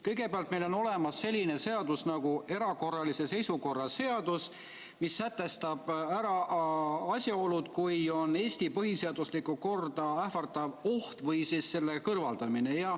Kõigepealt, meil on olemas selline seadus nagu erakorralise seisukorra seadus, mis sätestab asjaolud, kui on Eesti põhiseaduslikku korda ähvardav oht või siis selle kõrvaldamine.